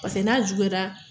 Paseke n'a juguyara